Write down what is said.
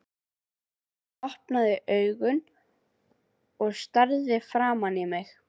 Hún opnaði augun og starði framan í mig.